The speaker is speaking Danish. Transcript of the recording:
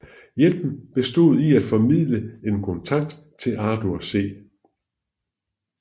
Hjælpen bestod i at formidle en kontakt til Arthur C